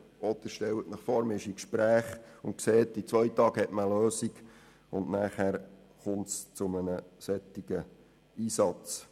Oder stellen Sie sich vor, man ist in Gesprächen und sieht, dass man in zwei Tagen eine Lösung haben wird, und dann kommt es zu einem solchen Einsatz.